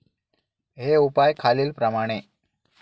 हे उपाय खालीलप्रमाणे.